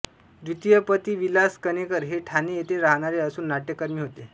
द्वितीय पती विलास कणेकर हे ठाणे येथे राहणारे असून नाट्यकर्मी होते